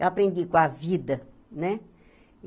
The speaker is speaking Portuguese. Eu aprendi com a vida, né?